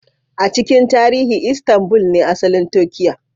A cikin tarihi Istanbul ne asalin Turkiyya